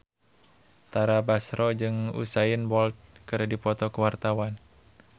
Tara Basro jeung Usain Bolt keur dipoto ku wartawan